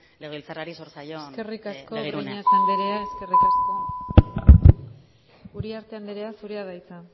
legebiltzarrari zor zaion begirunea eskerrik asko breñas andrea eskerrik asko uriarte anderea zurea da hitza